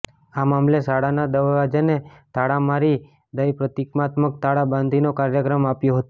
આ મામલે શાળાના દવાજાને તાળા મારી દઈ પ્રતિકાત્મક તાળા બંધીનો કાર્યક્રમ આપ્યો હતો